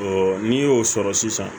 n'i y'o sɔrɔ sisan